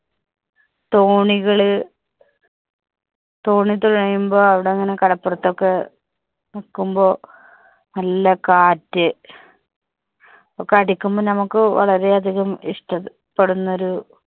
തോണികള്, തോണി തുഴയുമ്പോൾ അവിടെ അങ്ങനെ കടപ്പുറത്ത് ഒക്കെ നിക്കുമ്പോൾ നല്ല കാറ്റ് ഒക്കെ അടിക്കുമ്പോൾ നമുക്ക് വളരെ അധികം ഇഷ്ടപ്പെടുന്ന ഒരു